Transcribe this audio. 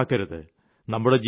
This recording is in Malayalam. അപ്രാപ്യമാക്കരുത്